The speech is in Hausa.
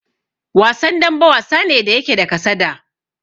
Wasan dambe, wasa ne da yake da kasada.